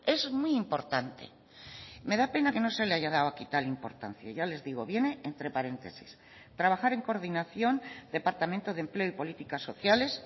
es muy importante me da pena que no se le haya dado aquí tal importancia ya les digo viene entre paréntesis trabajar en coordinación departamento de empleo y políticas sociales